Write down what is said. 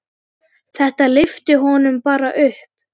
Þetta lyfti honum bara upp.